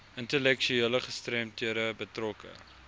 intellektuele gestremdhede betrokke